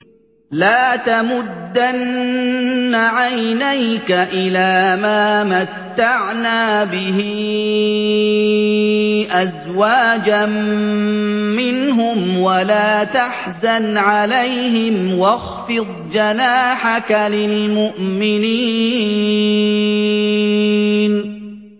لَا تَمُدَّنَّ عَيْنَيْكَ إِلَىٰ مَا مَتَّعْنَا بِهِ أَزْوَاجًا مِّنْهُمْ وَلَا تَحْزَنْ عَلَيْهِمْ وَاخْفِضْ جَنَاحَكَ لِلْمُؤْمِنِينَ